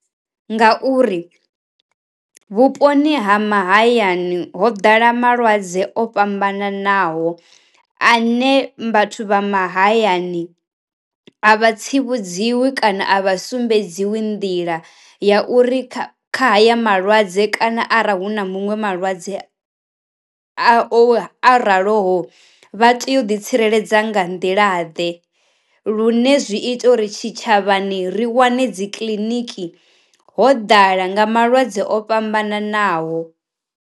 Ngauri, vhuponi ha mahayani ho ḓala malwadze o fhambananaho ane vhathu vha mahayani a vha tsivhudziwi kana a vha sumbedziwi nḓila ya uri kha kha haya malwadze kana ara hu na muṅwe malwadze a o a ralo vha tea u ḓi tsireledza nga nḓila ḓe, lune zwi ita uri tshi tshavhani ri wane dzi kiḽiniki ho ḓala nga malwadze o fhambananaho.